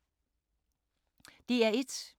DR1